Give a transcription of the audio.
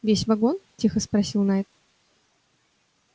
весь вагон тихо спросил найд